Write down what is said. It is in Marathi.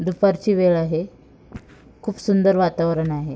दुपारची वेळ आहे खूप सुंदर वातावरण आहे.